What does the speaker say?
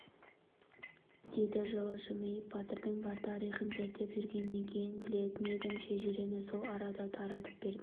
деді жылы жымиып батырдың бар тарихын зерттеп жүргеннен кейін білетін едім шежірені сол арада таратып бердім